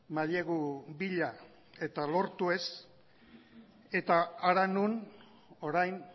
mailegu bila eta lortu ez eta hara non orain